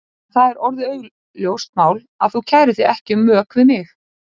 En það er orðið augljóst mál að þú kærir þig ekki um mök við mig!